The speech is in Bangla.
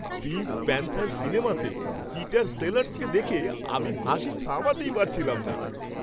পিঙ্ক প্যান্থার' সিনেমাতে পিটার সেলার্সকে দেখে আমি হাসি থামাতেই পারছিলাম না।